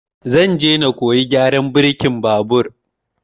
Zan je na koyi gyaran birkin babur